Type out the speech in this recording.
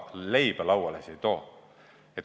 Leiba see lauale ei too.